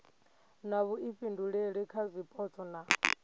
na vhuifhinduleli kha zwipotso na